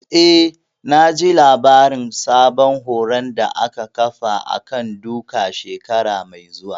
Eh, naji labarin sabon horon da za a ƙafa a kan duka shekara mai zuwa